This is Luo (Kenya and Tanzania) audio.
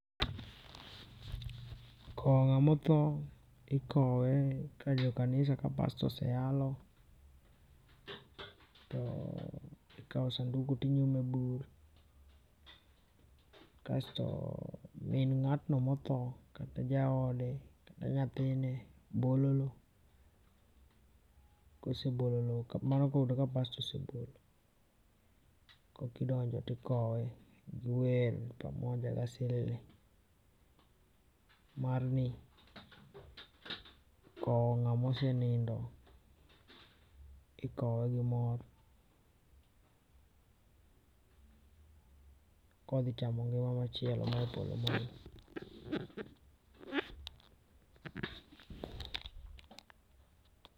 Kowo ng'ama othoo, ikowe ka jo kanisa ka pastor ose yalo to ikawo sanduku to inyume e bur kasto min ng'atno ma othoo, kata jaode, kata nyathine bolo loo kosebolo loo, mano ka oyudo ka pastor osebolo kok idonjo kasto ikowe gi wer pamoja gi asilili. Mar ni kowo ng'ama osenindo ikowe gi mor kodhi chamo ngima machielo ma e polo malo .